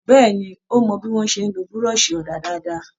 Béèni, ó mọ bí wón ṣe ń lo buroṣi òdà dáadáa.